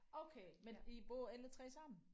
Okay men I bor alle 3 sammen